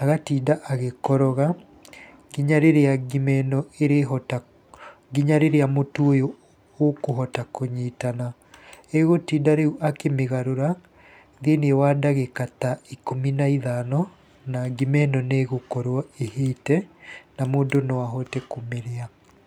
agatinda agĩkoroga nginya rĩrĩa ngima ĩno ĩrĩhota, nginya rĩrĩa mũtu ũyũ ũkũhota kũnyitana, egũtinda rĩu akĩmĩgarũra thĩiniĩ wa ndagika ta ikũmi na ithano na ngima ĩno nĩ ĩgũkorwo ĩhĩte, na mũndũ no ahote kũmĩrĩa.